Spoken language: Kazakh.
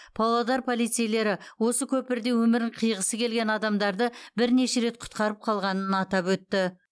павлодар полицейлері осы көпірде өмірін қиғысы келген адамдарды бірнеше рет құтқарып қалғанын атап өтті